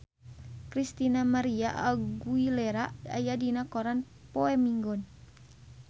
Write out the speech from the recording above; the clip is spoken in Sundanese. Christina María Aguilera aya dina koran poe Minggon